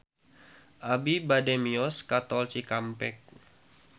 Abi bade mios ka Tol Cikampek